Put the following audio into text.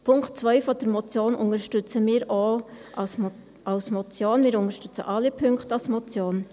Punkt 2 der Motion unterstützen wir auch als Motion, wir unterstützen alle Punkte als Motion.